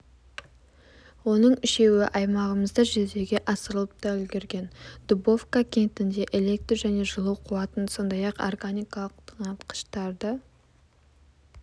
оның үшеуі аймағымызда жүзеге асырылып та үлгерген дубовка кентінде электр және жылу қуатын сондай-ақ органикалық тыңайтқыштарды